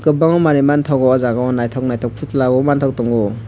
bagui manun manthogo o law jaaga o nythok nythok outlander manthogo.